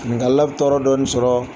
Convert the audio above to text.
Nka lab tɔɔrɔ dɔɔnin sɔrɔɔ